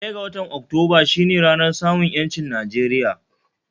Ɗaya ga watan Oktumba shi ne ranar samun 'yanci Nijeriya